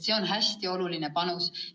See on hästi oluline panus.